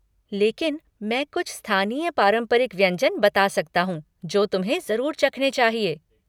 लेकिन मैं कुछ स्थानीय पारंपरिक व्यंजन बता सकता हूँ जो तुम्हें जरुर चखने चाहिए।